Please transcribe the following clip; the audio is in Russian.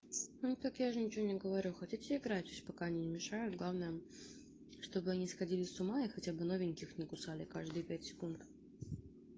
ну так я же ничего не говорю хотите играть ещё пока не мешаю главное чтобы они сходили с ума и хотя бы новеньких не кусали каждые пять секунд